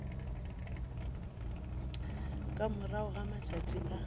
ka morago ga matšatši a